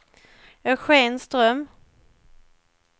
Eugen Ström